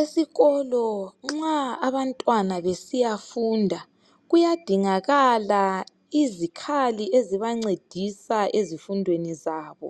Esikolo nxa abantwana besiya funda kuyadingakala izikhali ezibancedisa ezifundweni zabo.